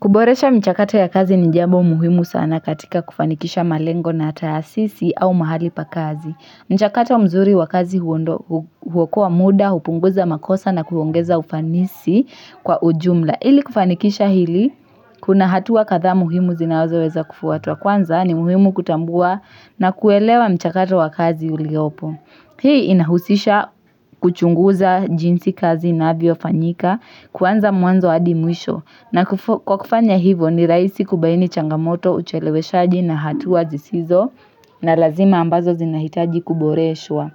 Kuboresha michakato ya kazi ni jambo muhimu sana katika kufanikisha malengo na tahasisi au mahali pa kazi. Mchakato mzuri wa kazi huondoa huokoa muda, hupunguza makosa na kuongeza ufanisi kwa ujumla. Ili kufanikisha hili, kuna hatua kadhaa muhimu zinazoweza kufuatwa. Kwanza ni muhimu kutambua na kuelewa mchakato wa kazi uliopo. Hii inahusisha kuchunguza jinsi kazi inavyofanyika kuanza mwanzo hadi mwisho. Na kwa kufanya hivo ni rahisi kubaini changamoto, ucheleweshaji na hatua zisizo na lazima ambazo zinahitaji kuboreshwa.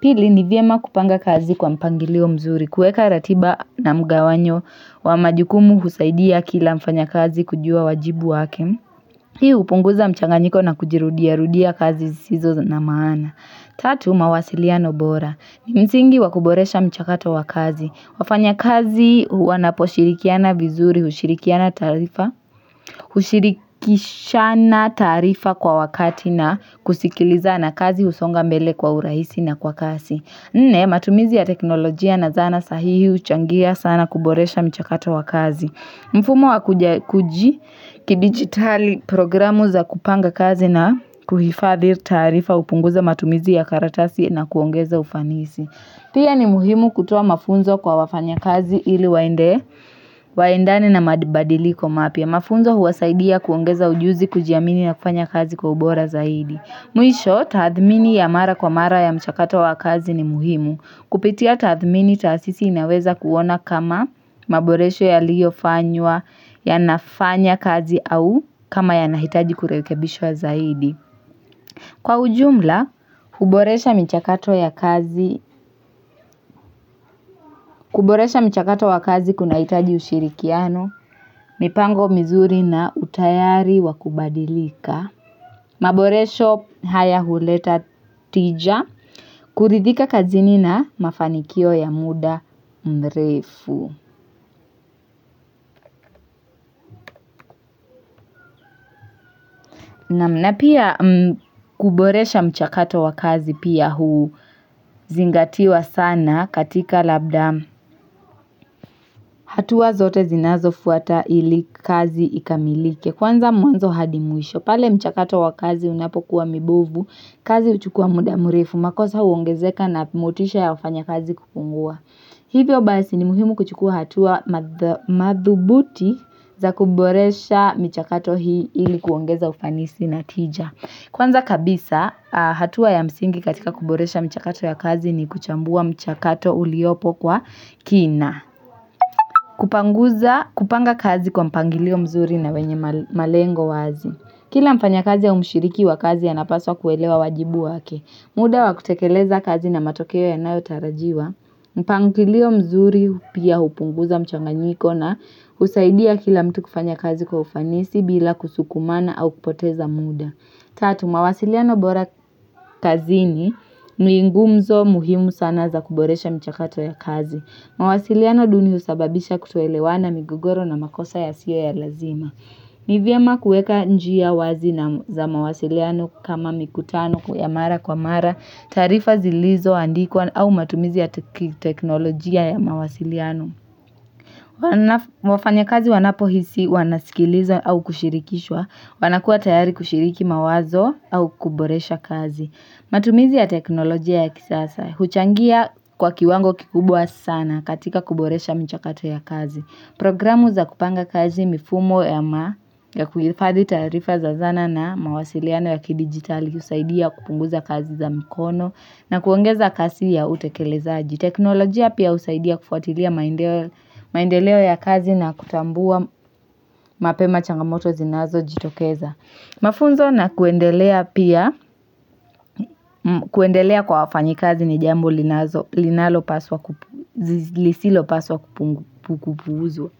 Pili ni vyema kupanga kazi kwa mpangilio mzuri kuweka ratiba na mgawanyo wa majukumu kusaidia kila mfanya kazi kujua wajibu wake. Hiu hupunguza mchanganyiko na kujirudiarudia kazi zisizo na maana. Tatu mawasiliano bora. Msingi wa kuboresha mchakato wakazi. Wafanya kazi wanaposhirikiana vizuri, hushirikiana taarifa, ushirikishana taarifa kwa wakati na kusikilizana kazi husonga mbele kwa urahisi na kwa kasi. Nne, matumizi ya teknolojia na zana sahihi huchangia sana kuboresha mchakato wa kazi. Mfumo wa kidigitali programu za kupanga kazi na kuhifadhi tarifa hupunguza matumizi ya karatasi na kuongeza ufanisi. Pia ni muhimu kutoa mafunzo kwa wafanyakazi ili waende, waendani na madibadiliko mapya. Mafunzo huwasaidia kuongeza ujuzi, kujiamini na kufanya kazi kwa ubora zaidi. Mwisho, tathmini ya mara kwa mara ya mchakato wa kazi ni muhimu. Kupitia tathmini taasisi inaweza kuona kama maboresho yaliyofanywa yanafanya kazi au kama yanahitaji kurekebishwa zaidi. Kwa ujumla, huboresha michakato ya kazi, kuboresha mchakato wa kazi kunahitaji ushirikiano, mipango mizuri na utayari wa kubadilika, maboresho haya huleta tija, kuridhika kazini na mafanikio ya muda mrefu. Naam na pia kuboresha mchakato wa kazi pia huzingatiwa sana katika labda hatua zote zinazofuata ili kazi ikamilike kwanza mwanzo hadi mwisho pale mchakato wa kazi unapokuwa mibovu kazi huchukua muda mrefu makosa huongezeka na motisha ya wafanyakazi kupungua. Hivyo basi ni muhimu kuchukua hatua madhubuti za kuboresha michakato hii ili kuongeza ufanisi na tija. Kwanza kabisa, hatua ya msingi katika kuboresha michakato ya kazi ni kuchambua mchakato uliopo kwa kina. Kupanguza, kupanga kazi kwa mpangilio mzuri na wenye malengo wazi. Kila mfanya kazi au mshiriki wa kazi anapaswa kuelewa wajibu wake. Muda wa kutekeleza kazi na matokeo ya nayo tarajiwa, mpangilio mzuri pia hupunguza mchanganyiko na husaidia kila mtu kufanya kazi kwa ufanisi bila kusukumana au kupoteza muda. Tatu, mawasiliano bora kazini ni ngumzo muhimu sana za kuboresha michakato ya kazi. Mawasiliano duni husababisha kutoelewana migogoro na makosa yasiyo ya lazima. Ni vyema kuweka njia wazi na za mawasiliano kama mikutano ya mara kwa mara, taarifa zilizoandikwa au matumizi ya teknolojia ya mawasiliano. Wafanyakazi wanapohisi wanasikilizwa au kushirikishwa, wanakuwa tayari kushiriki mawazo au kuboresha kazi. Matumizi ya teknolojia ya kisasa, huchangia kwa kiwango kikubwa sana katika kuboresha michakato ya kazi. Programu za kupanga kazi mifumo ya ma ya kuhifadhi tarifa za zana na mawasiliano ya kidigitali husaidia kupunguza kazi za mikono na kuongeza kasi ya utekelezaji. Teknolojia pia usaidia kufuatilia maendeleo ya kazi na kutambua mapema changamoto zinazojitokeza. Mafunzo na kuendelea pia kuendelea kwa wafanyikazi ni jambo linalopaswa kupu, lisilopaswa kupuuzwa.